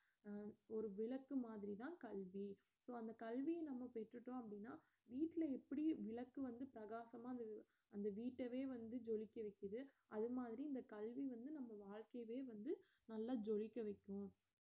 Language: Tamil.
அஹ் ஒரு விளக்கு மாதிரி தான் கல்வி so அந்த கல்விய நாம பெற்றுட்டோம் அப்படினா வீட்ல எப்படி விளக்கு வந்து பிரகாசமா அந்த வீட்டவே வந்து ஜொலிக்க வைக்குது அது மாதிரி இந்த கல்வி வந்து நம்ம வாழ்க்கையவே வந்து நல்லா ஜொலிக்க வைக்கும்